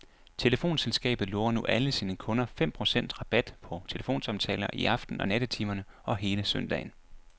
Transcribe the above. Telefonselskabet lover nu alle sine kunder fem procent rabat på telefonsamtaler i aften- og nattetimerne og hele søndagen.